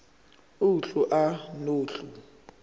uhlu a nohlu